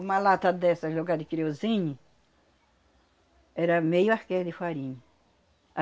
Uma lata dessas, no lugar de querosene, era meio arqueiro de farinha.